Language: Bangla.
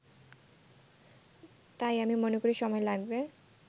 তাই আমি মনে করি সময় লাগবে